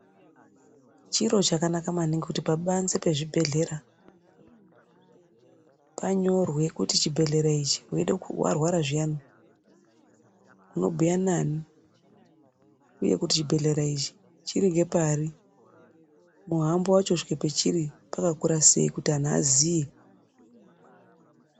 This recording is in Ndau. Chiro chakanaka maningi kuti pabanze pachibhedhlera panyorwe kuti chibhehlera ichi warwara zviyani, unobhuya nani. Uye kuti chibhehlera ichi chiri ngepari. Muhambo wacho kusvike pachiri wakakura sei, kuti anhu aziye.